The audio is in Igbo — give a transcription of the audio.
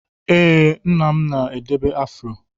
Ee, nna m nọ na-edebe afro.